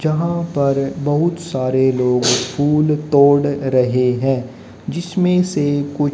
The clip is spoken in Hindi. यहां पर बहुत सारे लोग फूल तोड़ रहे हैं जिसमें से कुछ--